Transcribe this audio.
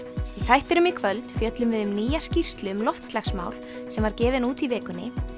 þættinum í kvöld fjöllum við um nýja skýrslu um loftslagsmál sem var gefin út í vikunni